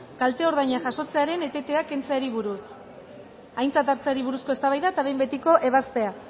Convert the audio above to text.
kalte ordainak jasotzearen etetea kentzeari buruz aintzat hartzeari buruzko eztabaida eta behin betiko ebazpena